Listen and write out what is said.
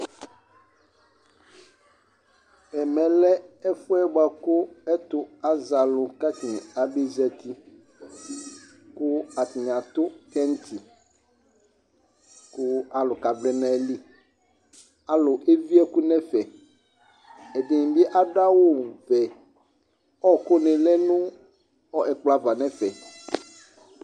Ɛmɛ lɛ ɛfu yɛ buaku ɛtu azɛ alu ku atani abe za uti Ku atani atu kɛŋtsi ku alu kavlɛ nu ayili Alu evie ɛku nu ɛfɛ Ɛdini bi adu awu vɛ Ɔwɔkuni lɛ nu ɛkplɔ ava nu ɛfɛ